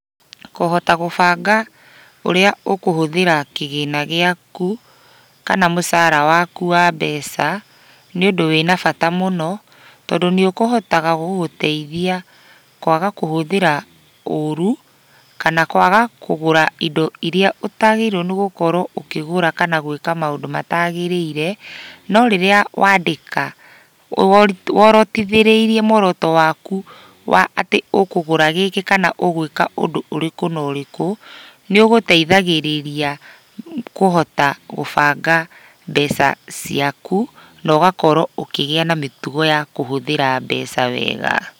Kũhota gũbanga ũrĩa ũkũhũthĩra kĩgĩna gĩaku, kana mũcara waku wa mbeca, nĩ ũndũ wĩna bata mũno, tondũ nĩũkũhotaga gũgũteithia kwaga kũhũthĩra ũru, kana kwana kwaga kũgũra indo iria ũtagĩrĩirwo nĩgũkorwo ũkĩgũra kana gwĩka maũndũ matagĩrĩire, no rĩrĩa wandĩka worotithĩrĩirie muoroto waku wa atĩ ũkũgũra gĩkĩ kana ũgwĩka ũndũ ũrĩkũ na ũrĩkũ, nĩũgũteithagĩrĩria kũhota gũbanga mbeca ciaku, na ũgakorwo ũkĩgĩa na mĩtugo ya kũhũthĩra mbeca wega.